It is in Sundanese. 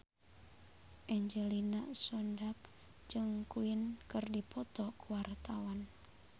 Angelina Sondakh jeung Queen keur dipoto ku wartawan